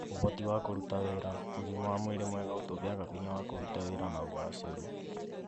ũhoti wa kũruta wĩra: ũgima wa mwĩrĩ mwega ũtũheaga hinya wa kũruta wĩra na ũgacĩru.